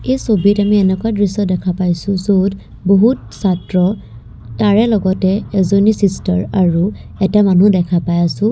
ছবিত আমি এনেকুৱা দৃশ্য দেখা পাইছোঁ য'ত বহুত ছাত্ৰ তাৰে লগতে এজনী চিষ্টাৰ আৰু এটা মানুহ দেখা পাই আছোঁ।